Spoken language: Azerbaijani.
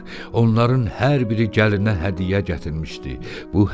Onların hər biri gəlinə hədiyyə gətirmişdi.